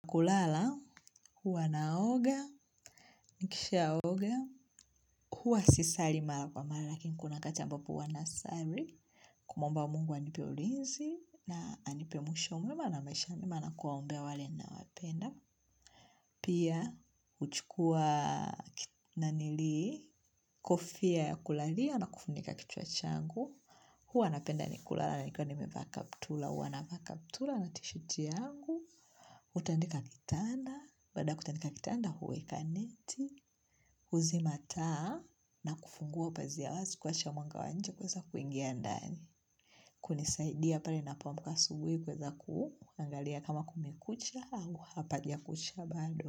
Kulala, huwa naoga, nikisha oga, huwa sisari mara kwa mara, lakini kuna wakati ambapo huwa na sari, kumuomba mungu anipe ulinzi, na anipe mwisho mwema na maisha mema na kuwa ombea wale nawapenda. Pia, huchukua nanili, kofia ya kulalia na kufunika kichwa changu, huwa napenda kulala nikiwa nimevaa kaptura. Huwa navaa kaptura na tishati yangu, kutandika kitanda, baada ya kutandika kitanda huweka neti, huzima taa, na kufungua upazia wazi kuruhusu mwanga wa nje kuingia ndani. Kunisaidia pale ninapo amak asubuhi kuweza kuangalia kama kumekucha au hapajakucha bado.